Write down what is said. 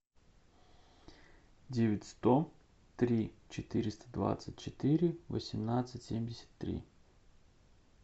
девять сто три четыреста двадцать четыре восемнадцать семьдесят три